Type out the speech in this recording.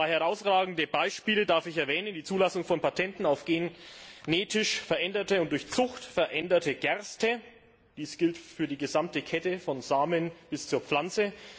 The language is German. Zwei herausragende Beispiele darf ich erwähnen Die Zulassung von Patenten auf genetisch veränderte und durch Zucht veränderte Gerste dies gilt für die gesamte Kette von den Samen bis zur Pflanze.